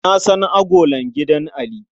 Na san agolar gidan Ali.